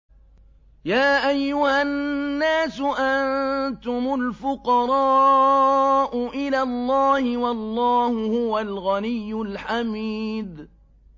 ۞ يَا أَيُّهَا النَّاسُ أَنتُمُ الْفُقَرَاءُ إِلَى اللَّهِ ۖ وَاللَّهُ هُوَ الْغَنِيُّ الْحَمِيدُ